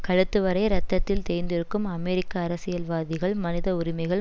கழுத்துவரை இரத்தத்தில் தேய்ந்திருக்கும் அமெரிக்க அரசியல்வாதிகள் மனித உரிமைகள்